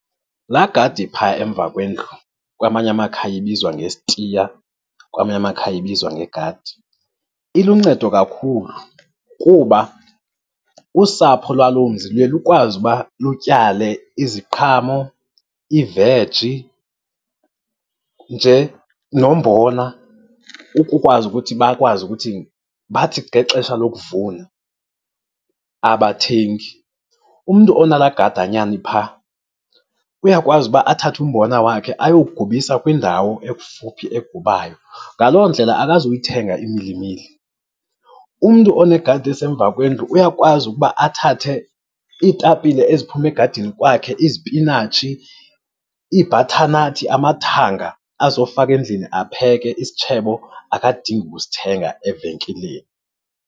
Laa gadi ipha emva kwendlu kwamanye amakhaya ibizwa ngesitiya kwamanye amakhaya ibizwa ngegadi, iluncedo kakhulu kuba usapho lwaloo mzi luye lukwazi ukuba lutyale iziqhamo, iveji nje nombona ukukwazi ukuthi bakwazi ukuthi bathi ngexesha lokuvuna abathengi. Umntu onalaa gadanyana iphaa uyakwazi uba athathe umbona wakhe ayowugubisa kwindawo ekufuphi egubayo, ngaloo ndlela akazuyithenga imilimili. Umntu onegadi esemva kwendlu uyakwazi ukuba athathe iitapile eziphuma egadini kwakhe, izipinatshi, iibhathanathi, amathanga azofaka endlini apheke isitshebo, akadingi kusithenga evenkileni.